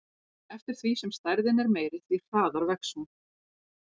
Eftir því sem stærðin er meiri, því hraðar vex hún.